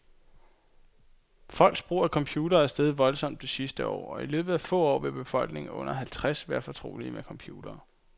Folks brug af computere er steget voldsomt det sidste år, og i løbet af få år vil befolkningen under halvtreds være fortrolige med computere.